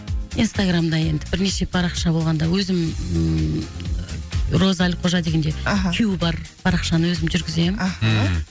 инстаграмда енді бірнеше парақша болғанда өзім роза әлқожа дегенде аха кю бар парақшаны өзім жүргіземін аха ммм